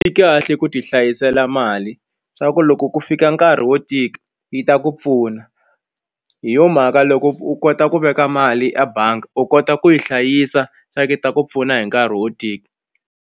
Swi kahle ku ti hlayisela mali swa ku loko ku fika nkarhi wo tika yi ta ku pfuna hi yo mhaka loko u kota ku veka mali a bangi u kota ku yi hlayisa swa ku yi ta ku pfuna hi nkarhi wo tika.